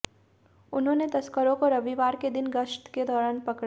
उन्होंने तस्करों को रविवार के दिन गश्त के दौरान पकड़ा